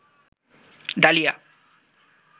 dahlia